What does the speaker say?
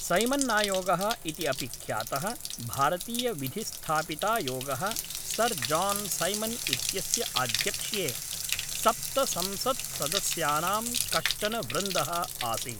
सैमन्नायोगः इति अपि ख्यातः भारतीयविधिस्थापितायोगः सर् जान् सैमन् इत्यस्य आध्यक्ष्ये सप्तसंसत्सदस्यानां कश्चन वृन्दः आसीत्।